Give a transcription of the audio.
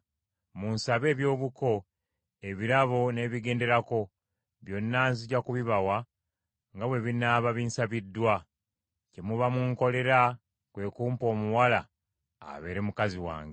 Munsabe ebyobuko ebirabo n’ebigenderako, byonna nzija kubibawa nga bwe binaaba binsabiddwa; kye muba munkolera kwe kumpa omuwala abeere mukazi wange.”